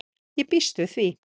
Ég býst við því.